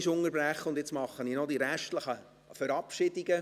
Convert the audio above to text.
Ich mache jetzt kurz die restlichen Verabschiedungen.